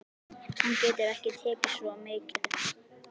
Hann getur ekki tekið svo mikið.